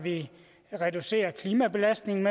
reducere klimabelastningen